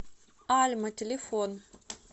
альма телефон